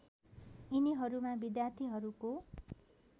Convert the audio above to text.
यिनीहरूमा विद्यार्थीहरूको